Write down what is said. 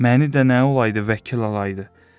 Məni də nə olaydı vəkil alaydı.